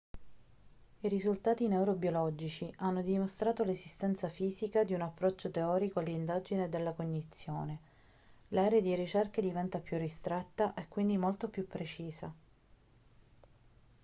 i risultati neurobiologici hanno dimostrato l'esistenza fisica di un approccio teorico all'indagine della cognizione l'area di ricerca diventa più ristretta e quindi molto più precisa